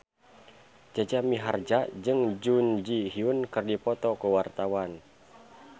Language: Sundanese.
Jaja Mihardja jeung Jun Ji Hyun keur dipoto ku wartawan